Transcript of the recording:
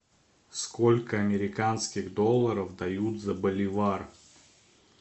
сколько американских долларов дают за боливар